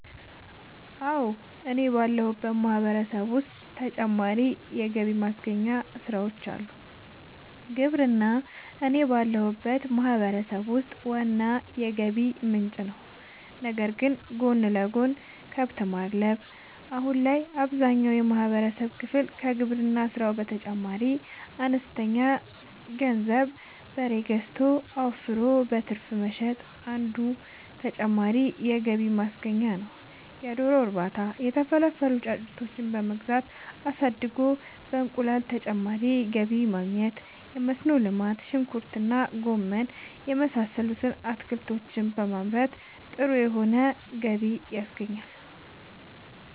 አወ እኔ ባለሁበት ማህበረሰብ ዉስጥ ተጨማሪ ገቢ ማግኛ ስራወች አሉ። ግብርና እኔ ባለሁበት ማህበረሰብ ውስጥ ዋና የገቢ ምንጭ ነዉ ነገር ግን ጎን ለጎን :- ከብት ማድለብ :- አሁን ላይ አብዛኛውን የማህበረሰብ ክፍል ከግብርና ስራው በተጨማሪ በአነስተኛ ገንዘብ በሬ ገዝቶ አወፍሮ በትርፍ መሸጥ አንዱ ተጨማሪ የገቢ ማግኛ ነዉ የዶሮ እርባታ:- የተፈለፈሉ ጫጩቶችን በመግዛት አሳድጎ በእንቁላል ተጨማሪ ገቢ ማግኘት የመስኖ ልማት :-ሽንኩርት እና ማንጎ የመሳሰሉት አትክልቶችን በማምረት ጥሩ የሆነ ገቢ ያገኙበታል